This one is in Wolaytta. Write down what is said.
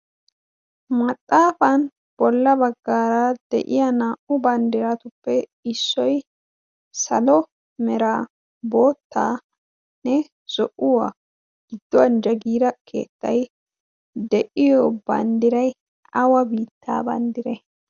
maxaafan bolla baggaara de'iya naa'u banddiratuppe issoy salo merabotanne zo'uwaa gidduwan jagiira keetta' de'iyo banddiray awa biittaa banddire?